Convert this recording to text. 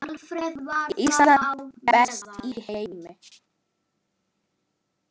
Ísland, best í heimi.